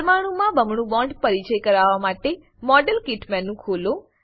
પરમાણુંમાં બમણું બોન્ડ પરિચય કરાવવા માટે મોડેલ કિટ મેનુ ખોલો